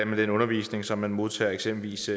med den undervisning som man modtager eksempelvis